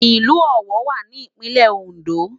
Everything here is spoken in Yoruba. Ilù Owo wá ni Ipinlè Óndó